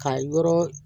Ka yɔrɔ